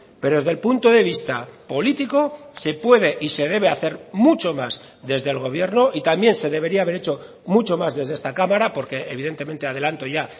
pero desde el punto de vista político se puede y se debe hacer mucho más desde el gobierno y también se debería haber hecho mucho más desde esta cámara porque evidentemente adelanto ya